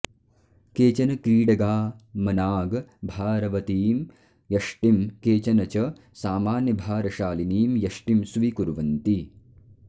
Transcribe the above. केचन क्रीडका मनाग् भारवतीं यष्टिं केचन च सामान्यभारशालिनीं यष्टिं स्वीकुर्वन्ति